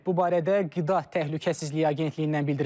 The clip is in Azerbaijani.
Bu barədə Qida Təhlükəsizliyi Agentliyindən bildirilib.